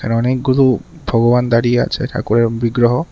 এখানে অনেকগুলো ভগবান দাঁড়িয়ে আছে ঠাকুরের বিগ্রহ।